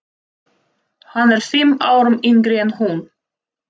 Hann er fimm árum yngri en hún.